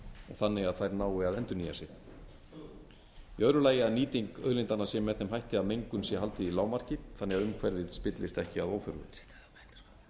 þannig að þær nái að endurnýja sig í öðru lagi að nýting auðlindanna sé með þeim hætti að mengun sé haldið í lágmarki þannig að umhverfið spillist ekki að óþörfu